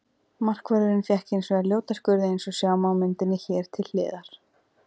Markvörðurinn fékk hins vegar ljóta skurði eins og sjá má á myndinni hér til hliðar.